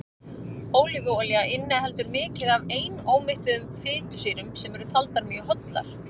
ólífuolía inniheldur mikið af einómettuðum fitusýrum sem eru taldar mjög hollar